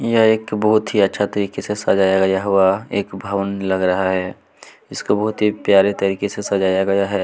यह एक बहुत ही अच्छा तरीके से सजाया हुआ एक भवन लग रहा है इसको बहुत ही प्यारे तरीके से सजाया गया है।